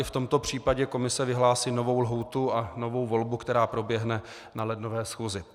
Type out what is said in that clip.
I v tomto případě komise vyhlásí novou lhůtu a novou volbu, která proběhne na lednové schůzi.